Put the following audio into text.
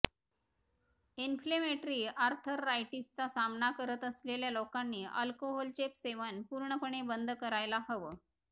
inflammatory आर्थरायटीसचा सामना करत असलेल्या लोकांनी अल्कोहोलचे सेवन पूर्णपणे बंद करायला हवं